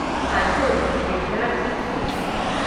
high court विद्यार्थी fees